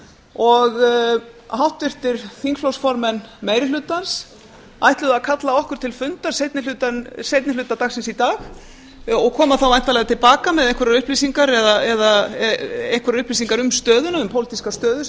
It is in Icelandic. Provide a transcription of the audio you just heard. og háttvirtir þingflokksformenn meiri hlutans ætluðu að kalla okkur til fundar seinni hluta dagsins í dag og koma þá væntanlega til baka með einhverjar upplýsingar um stöðuna um pólitíska stöðu sem